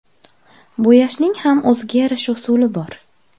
Bo‘yashning ham o‘ziga yarasha usuli bor.